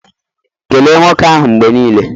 Kelee nwoke ahụ mgbe niile!